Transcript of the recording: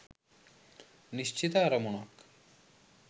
නිශ්චිත අරමුණක්